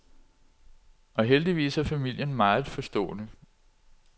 Og heldigvis er familien meget forstående.